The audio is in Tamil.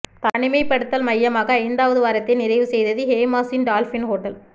தனிமைப்படுத்தல் மய்யமாக ஐந்தாவது வாரத்தை நிறைவு செய்தது ஹேமாஸின் டால்பின் ஹோட்டல்